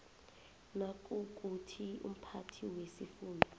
nayikuthi umphathi wesifunda